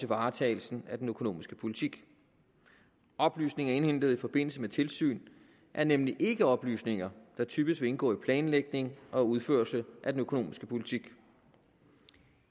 varetagelsen af den økonomiske politik oplysninger indhentet i forbindelse med tilsyn er nemlig ikke oplysninger der typisk vil indgå i planlægning og udførelse af den økonomiske politik